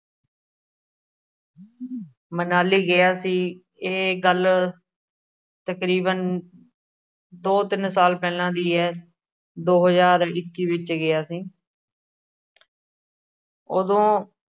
ਮਨਾਲੀ ਗਿਆ ਸੀ। ਇਹ ਗੱਲ ਤਕਰੀਬਨ ਦੋ, ਤਿੰਨ ਸਾਲ ਪਹਿਲਾ ਦੇ ਹੈ। ਦੋ ਹਜਾਰ ਇੱਕੀ ਵਿੱਚ ਗਿਆ ਸੀ। ਉਦੋਂ